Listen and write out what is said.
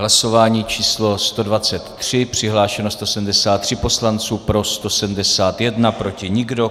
Hlasování číslo 123, přihlášeno 173 poslanců, pro 171, proti nikdo.